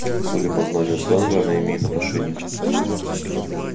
судя по знанию сленга она имеет отношение